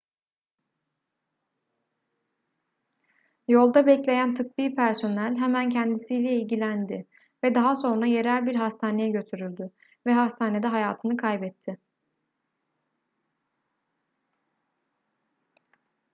yolda bekleyen tıbbi personel hemen kendisiyle ilgilendi ve daha sonra yerel bir hastaneye götürüldü ve hastanede hayatını kaybetti